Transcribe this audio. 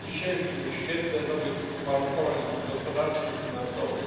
a dzisiaj w świetle nowych uwarunkowań gospodarczych i finansowych